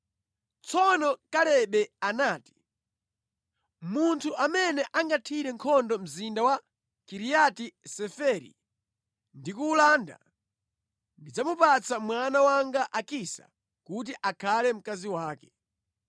Tsono Kalebe anati, “Munthu amene angathire nkhondo mzinda wa Kiriati Seferi ndi kuwulanda, ndidzamupatsa mwana wanga Akisa kuti akhale mkazi wake.”